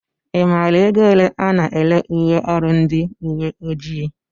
I maara ego ole a na-ere uwe ọrụ ndị uwe ojii?